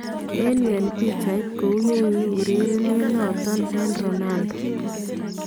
En yuu , en picheet ,kou yekiu urerenet noton en Ronaldo